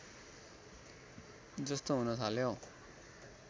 जस्तो हुन थाल्यो